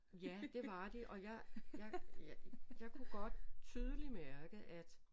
Ja det var de og jeg jeg kunne godt tydeligt mærke at